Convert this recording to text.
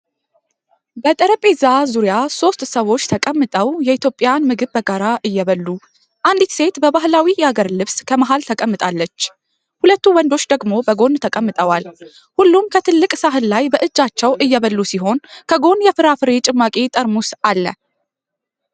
በጠረጴዛ ዙሪያ ሶስት ሰዎች ተቀምጠው የኢትዮጵያን ምግብ በጋራ እየበሉ። አንዲት ሴት በባህላዊ የሀገር ልብስ ከመሃል ተቀምጣለች፣ ሁለት ወንዶች ደግሞ በጎን ተቀምጠዋል። ሁሉም ከትልቅ ሳህን ላይ በእጃቸው እየበሉ ሲሆን ከጎን የፍራፍሬ ጭማቂ ጠርሙስ አለ።